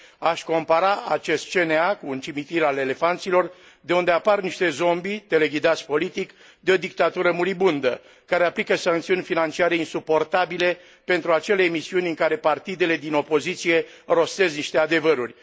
Aș compara acest CNA cu un cimitir al elefanților, de unde apar niște zombie teleghidați politic de o dictatură muribundă care aplică sancțiuni financiare insuportabile pentru acele emisiuni în care partidele din opoziție rostesc niște adevăruri.